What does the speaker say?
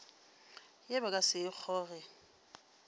ye ba ka se kgoge